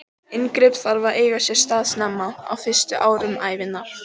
Inngrip þarf að eiga sér stað snemma, á fyrstu árum ævinnar.